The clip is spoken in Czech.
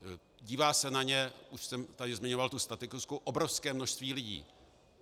Dívá se na ně, už jsem tady zmiňoval tu statistiku, obrovské množství lidí.